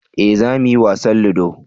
eh za mu yi wasan ludo